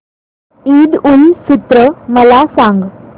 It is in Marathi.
ईद उल फित्र मला सांग